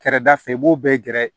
Kɛrɛda fɛ i b'o bɛɛ gɛrɛ